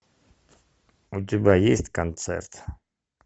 у тебя есть концерт